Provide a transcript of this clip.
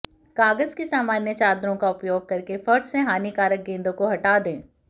कागज की सामान्य चादरों का उपयोग करके फर्श से हानिकारक गेंदों को हटा दें